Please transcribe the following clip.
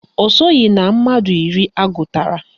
Ọ soghi na mmadụ iri agụtara